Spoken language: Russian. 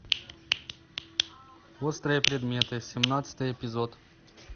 острые предметы семнадцатый эпизод